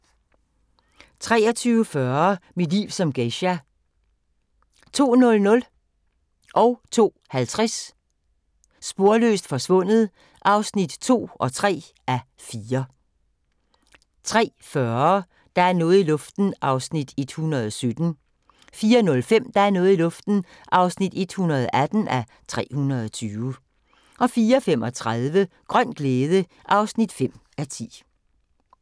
23:40: Mit liv som geisha 02:00: Sporløst forsvundet (2:4) 02:50: Sporløst forsvundet (3:4) 03:40: Der er noget i luften (117:320) 04:05: Der er noget i luften (118:320) 04:35: Grøn glæde (5:10)